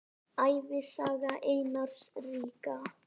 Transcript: Ævisaga Einars ríka